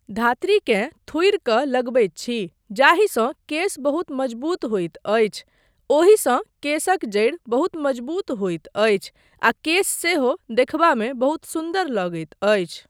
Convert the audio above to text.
धातृकेँ थुड़ि कऽ लगबैत छी जाहिसँ केश बहुत मजबूत होइत अछि, ओहिसँ केशक जड़ि बहुत मजबूत होइत अछि आ केश सेहो देखबामे बहुत सुन्दर लगैत अछि।